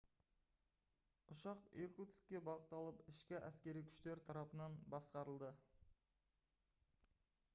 ұшақ иркутскке бағытталып ішкі әскери күштер тарапынан басқарылды